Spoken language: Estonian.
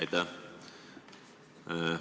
Aitäh!